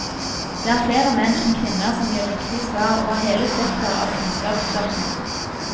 Det er flere menn enn kvinner som gir riktige svar over hele spekteret av kunnskapsspørsmål.